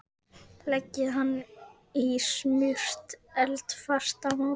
Leggið hann í smurt eldfast mót.